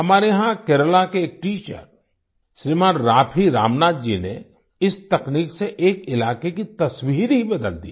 हमारे यहाँ केरला के एक टीचर श्रीमान राफी रामनाथ जी ने इस तकनीक से एक इलाके की तस्वीर ही बदल दी